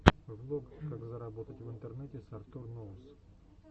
влог как заработать в интернете с артур ноус